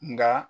Nka